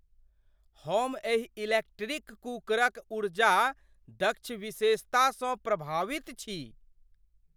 हम एहि इलेक्ट्रिक कुकरक ऊर्जा दक्ष विशेषतासँ प्रभावित छी!